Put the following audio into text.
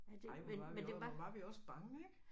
Ej hvor var vi også hvor var vi også bange ik